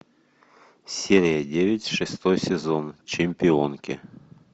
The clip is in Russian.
серия девять шестой сезон чемпионки